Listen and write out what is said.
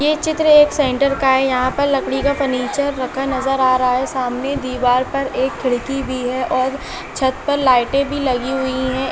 ये चित्र एक सेन्टर का हैं। यहाँ पर लकड़ी का फर्नीचर रखा नजर आ रहा हैं। सामने दिवार पर एक खिड़की भी है और छत पर लइट भी लगी हुई हैं।